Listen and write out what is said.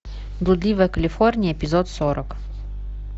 блудливая калифорния эпизод сорок